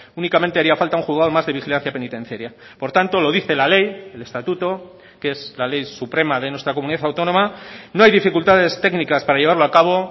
únicamente haría falta un juzgado más de vigilancia penitenciaria por tanto lo dice la ley el estatuto que es la ley suprema de nuestra comunidad autónoma no hay dificultades técnicas para llevarlo a cabo